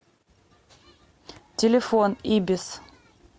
телефон ибис